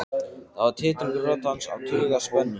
Það var titringur í rödd hans af taugaspennu.